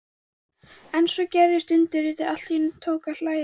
En svo gerðist undrið: Allt í einu tók að lægja.